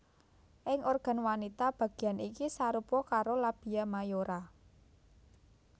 Ing organ wanita bagéan iki sarupa karo labia mayora